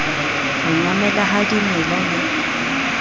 ho nyamela ha dimela le